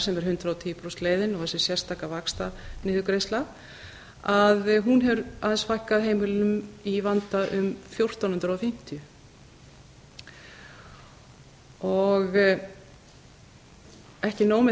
sem er hundrað og tíu prósenta leiðin og þessi sérstaka vaxtaniðurgreiðsla hefur aðeins fækkað heimilum í vanda um fjórtán hundruð fimmtíu ekki nóg með